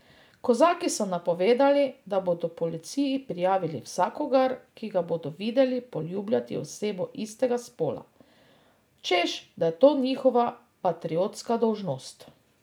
Kozaki so napovedali, da bodo policiji prijavili vsakogar, ki ga bodo videli poljubljati osebo istega spola, češ da je to njihova patriotska dolžnost.